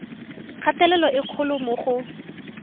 kgatelelo e kgolo mo go